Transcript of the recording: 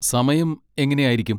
സമയം എങ്ങനെ ആയിരിക്കും?